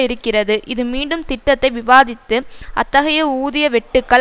இருக்கிறது இது மீண்டும் திட்டத்தை விவாதித்து அத்தகைய ஊதிய வெட்டுக்கள்